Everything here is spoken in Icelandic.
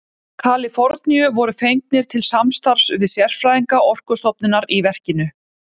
Kaliforníu voru fengnir til samstarfs við sérfræðinga Orkustofnunar í verkinu.